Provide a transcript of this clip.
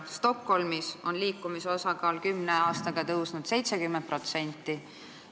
Stockholmis on rattaga liikujate osakaal kümne aastaga tõusnud 70%.